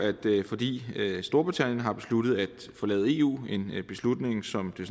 fordi storbritannien har besluttet at forlade eu en beslutning som det